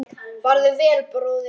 Farðu vel, bróðir og vinur.